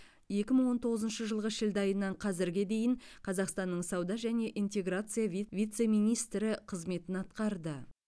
екі мың он тоғызыншы жылғы шілде айынан қазірге дейін қазақстанның сауда және интеграция вит вице министрі қызметін атқарды